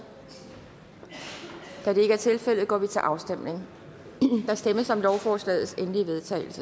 da det ikke er tilfældet går vi til afstemning der stemmes om lovforslagets endelige vedtagelse